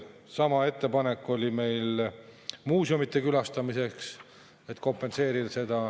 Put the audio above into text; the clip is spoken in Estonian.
Sama ettepanek oli meil muuseumide külastamiseks, et seda kompenseerida.